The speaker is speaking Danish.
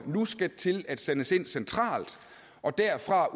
nu skal til at sendes ind centralt og derfra